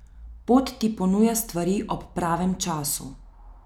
Pot ti ponuja stvari ob pravem času.